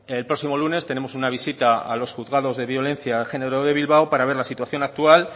el próximo lunes tenemos una visita a los juzgados de violencia de género de bilbao para ver la situación actual